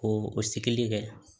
Ko o sigili kɛ